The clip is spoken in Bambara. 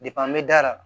n bɛ da la